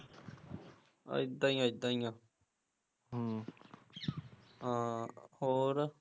ਏਦਾਂ ਈ ਆ ਏਦਾਂ ਈ ਆ ਹਮ ਹਾਂ ਹੋਰ